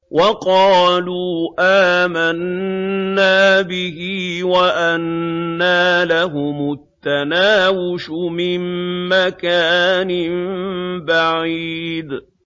وَقَالُوا آمَنَّا بِهِ وَأَنَّىٰ لَهُمُ التَّنَاوُشُ مِن مَّكَانٍ بَعِيدٍ